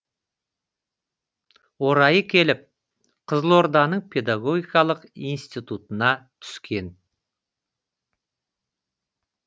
орайы келіп қызылорданың педагогикалық институтына түскен